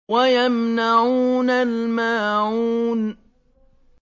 وَيَمْنَعُونَ الْمَاعُونَ